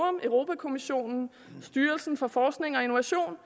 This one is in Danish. europa kommissionen styrelsen for forskning og innovation